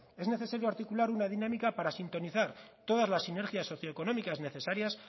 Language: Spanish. es necesario articular una dinámica para sintonizar todas las sinergias socioeconómicas necesarias